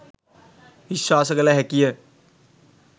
විශ්වාස කළ හැකිය